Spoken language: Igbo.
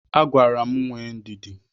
Agwara m nwee ndidi.